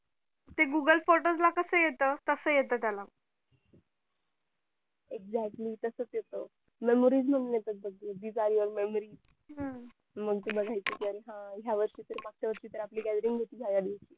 ते google quotas ला कसं येत तसं येत त्याला exctly तसंच येत memories म्हणून येत बघ हम्म अरे हा ह्या वर्षी तर मागच्या वर्षी पेक्षा gallery मोठी झाली